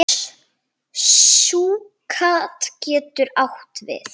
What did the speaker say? Súkkat getur átt við